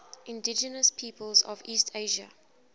indigenous peoples of east asia